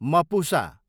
Mapusa